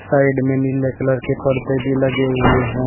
Side में नीले colour के पर्दे भी लगे हुए हैं।